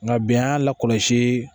Nka bi an y'a lakɔlɔsi